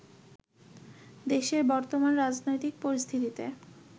দেশের বর্তমান রাজনৈতিক পরিস্থিতিতে